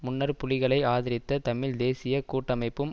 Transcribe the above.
முன்னர் புலிகளை ஆதரித்த தமிழ் தேசிய கூட்டமைப்பும்